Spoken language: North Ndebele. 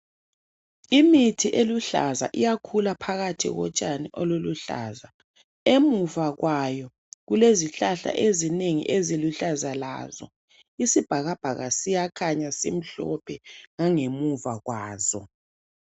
Imithi eluhlaza iyakhula phakathi kotshani oluluhlaza .Emuva kwayo kulezihlahla ezinengi eziluhlaza lazo. Isibhakabhaka siyakhanya simhlophe ngangemuva kwazo.